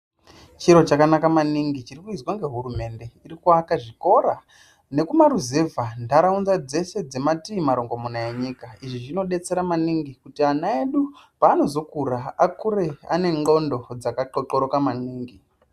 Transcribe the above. Chiro chakanaka maningi chiri kuizwa nehurumende iri kuaka zvikora nekumaruzevha nharaunda dzedu dzekumatii marongomuna enyika izvi zvinodetsera maningi kuti ana edu panozokura akure anengondo dzakathothoroka maningi.